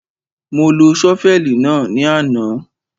Mo lo ṣọ́fẹ̀lì náà ní àná.